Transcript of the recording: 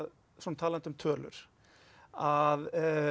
talandi um tölur að